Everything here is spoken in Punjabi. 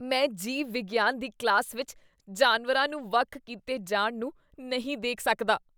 ਮੈਂ ਜੀਵ ਵਿਗਿਆਨ ਦੀ ਕਲਾਸ ਵਿੱਚ ਜਾਨਵਰਾਂ ਨੂੰ ਵੱਖ ਕੀਤੇ ਜਾਣ ਨੂੰ ਨਹੀਂ ਦੇਖ ਸਕਦਾ।